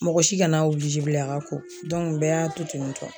Mɔgɔ si kana kana obilize bilen k'a ka ko dɔnku y'a bɛɛ y'a to tentɔ